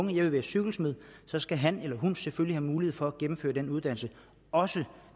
vil være cykelsmed så skal han selvfølgelig have mulighed for at gennemføre den uddannelse også